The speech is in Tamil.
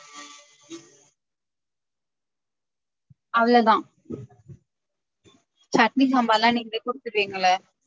அவ்ளோதா சட்னி சாம்பார்லா நீங்களே குடுத்துருவீங்கல்ல?